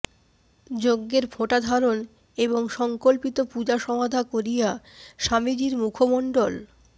যজ্ঞের ফোঁটাধারণ এবং সঙ্কল্পিত পূজা সমাধা করিয়া স্বামীজীর মুখমণ্ডল